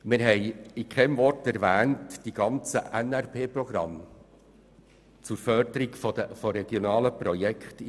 Mit keinem Wort werden die ganzen Programme der NRP zur Förderung von regionalen Projekten erwähnt.